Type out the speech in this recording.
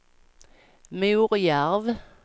Morjärv